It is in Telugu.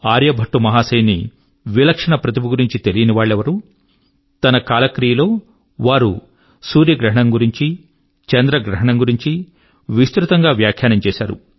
ఆర్యభట్టు మహాశయుని విలక్షణ ప్రతిభ గురించి తెలీని వాళ్ళెవరు తన కాలక్రియ లో వారు సూర్యగ్రహణం గురించీ చంద్రగ్రహణం గురించి విస్తృతం గా వ్యాఖ్యానం చేశారు